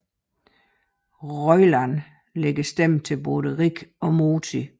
Roiland lægger stemme til både Rick og Morty